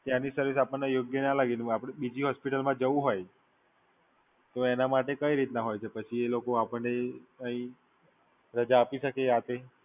ત્યાંની સર્વિસ આપણને બરોબર ના લાગી હોય અને આપડે બીજી હોસ્પિટલમાં જવું હોય તો એના માટે કઈ રીતના હોય છે? પછી એ લોકો આપણને કઈ રાજા આપી શકે?